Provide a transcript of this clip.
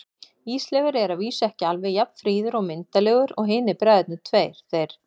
Ísleifur er að vísu ekki alveg jafn fríður og myndarlegur og hinir bræðurnir tveir, þeir